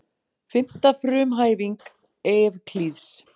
Fimmta frumhæfing Evklíðs.